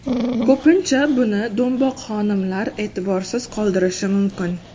Ko‘pincha buni do‘mboq xonimlar e’tiborsiz qoldirishi mumkin.